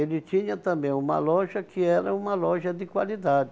Ele tinha também uma loja que era uma loja de qualidade.